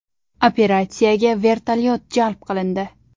Operatsiyaga vertolyot jalb qilindi.